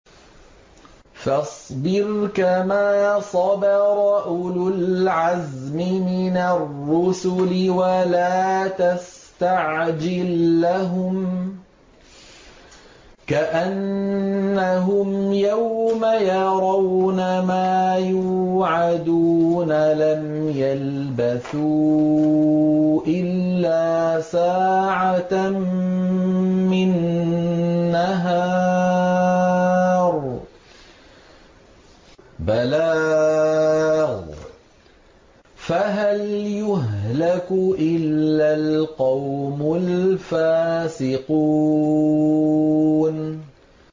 فَاصْبِرْ كَمَا صَبَرَ أُولُو الْعَزْمِ مِنَ الرُّسُلِ وَلَا تَسْتَعْجِل لَّهُمْ ۚ كَأَنَّهُمْ يَوْمَ يَرَوْنَ مَا يُوعَدُونَ لَمْ يَلْبَثُوا إِلَّا سَاعَةً مِّن نَّهَارٍ ۚ بَلَاغٌ ۚ فَهَلْ يُهْلَكُ إِلَّا الْقَوْمُ الْفَاسِقُونَ